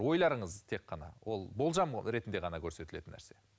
ойларыңыз тек қана ол болжам ретінде ғана көрсетілетін нәрсе